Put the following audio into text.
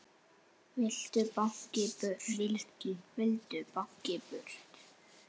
Vildu báknið burt.